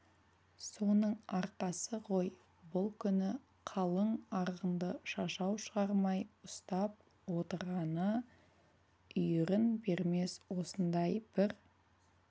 соның арқасы ғой бұл күні қалың арғынды шашау шығармай ұстап отырғаны үйірін бермес осындай бір